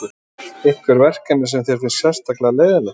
Lillý: Einhver verkefni sem þér finnst sérstaklega leiðinleg?